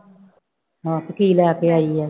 ਮਾਸੀ ਕੀ ਲੈ ਕੇ ਆਈ ਹੈ।